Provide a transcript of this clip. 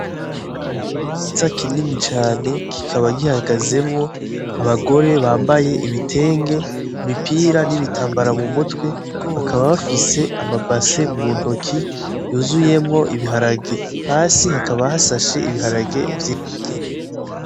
Ni ikibanza kinini cane. Kikaba gihagazemwo abagore bambaye ibitenge, imipira, n'ibitambara mu mutwe. Bakaba bafise amabase mu ntoki, yuzuyemwo ibiharage. Hasi hakaba hasashe ibiharage vyinshi birunze.